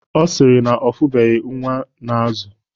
Ọ sịrị na ọ fụbeghi nwa ọ na-azụ